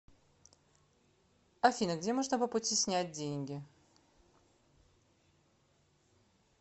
афина где можно по пути снять деньги